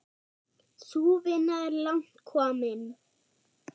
Sú vinna er langt komin.